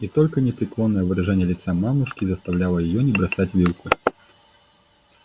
и только непреклонное выражение лица мамушки заставляло её не бросать вилку